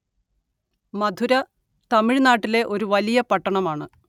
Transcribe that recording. മധുര തമിഴ്‌നാട്ടിലെ ഒരു വലിയ പട്ടണമാണ്